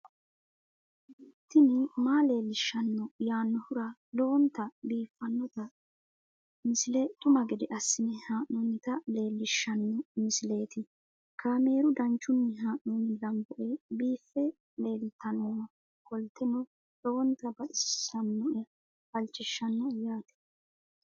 tini maa leelishshanno yaannohura lowonta biiffanota misile xuma gede assine haa'noonnita leellishshanno misileeti kaameru danchunni haa'noonni lamboe biiffe leeeltannoqolten lowonta baxissannoe halchishshanno yaate